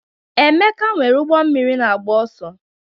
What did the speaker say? Emeka nwere ụgbọ mmiri na-agba ọsọ.